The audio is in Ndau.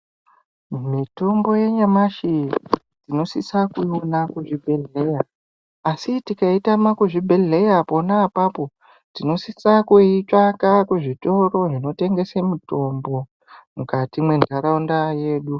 Mitombo yanyamashi tinosisa kuiona kuzvibhedhlera asi tikaitama kuzvibhedhlera pona apapo tinosisa kuitsvaka kuzvitoro zvinotengesa mitombo mukati mwenharaunda yedu.